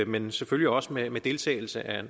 men selvfølgelig også med med deltagelse af